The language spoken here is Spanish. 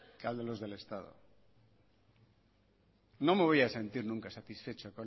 que a los del estado no me voy a sentir nunca satisfecho